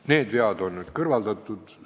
Need vead on nüüd kõrvaldatud.